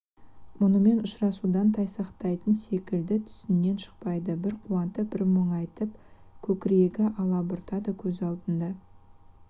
мұнымен ұшырасудан тайсақтайтын секілді түсінен шықпайды бір қуанып бір мұңайып көкірегі алабұртады көз алдында